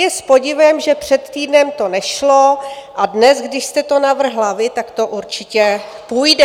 Je s podivem, že před týdnem to nešlo a dnes, když jste to navrhla vy, tak to určitě půjde.